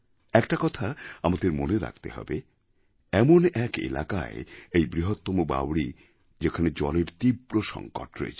একটা কথা আমাদের মনে রাখতে হবে এমন এক এলাকায় এই বৃহত্তম বাউরি যেখানে জলের তীব্র সংকট রয়েছে